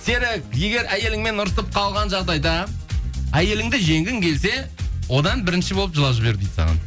серік егер әйеліңмен ұрысып қалған жағдайда әйеліңді жеңгің келсе одан бірінші болып жылап жібер дейді саған